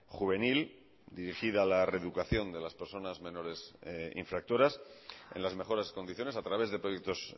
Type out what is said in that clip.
juvenil dirigida a la reeducación de las personas menores infractoras en las mejores condiciones a través de proyectos